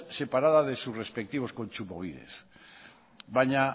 separadas de sus respectivos kontsumobides baina